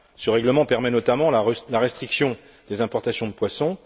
Ce règlement permet notamment la restriction des importations de poissons.